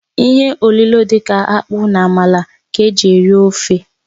Ihe olilo dị ka akpu na amala ka eji eri ofe.